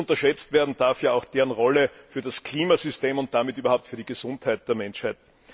Nicht unterschätzt werden darf auch deren Rolle für das Klimasystem und damit auch für die Gesundheit der Menschheit.